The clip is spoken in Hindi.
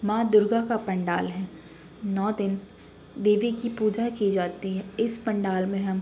माँ दुर्गा का पंडाल है नव दिन देवी की पूजा की जाती है। इस पंडाल में हम --